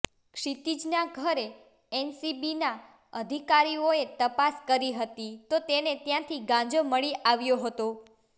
ક્ષિતિજના ઘરે એનસીબીના અધિકારીઓએ તપાસ કરી હતી તો તેને ત્યાંથી ગાંજો મળી આવ્યો હતો